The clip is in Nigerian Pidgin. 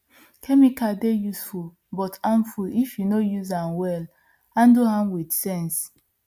chemical dey useful but harmful if you no use am wellhandle am with sense